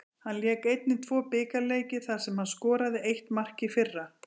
Hann lék einnig tvo bikarleiki þar sem hann skoraði eitt mark í fyrra.